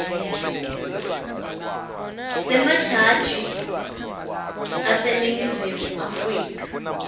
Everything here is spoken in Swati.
wemajaji aseningizimu afrika